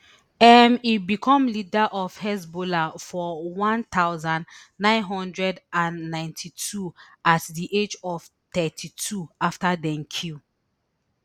um e become leader of hezbollah for one thousand, nine hundred and ninety-two at di age of thirty-two afta dem kill